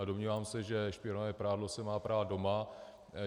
A domnívám se, že špinavé prádlo se má prát doma.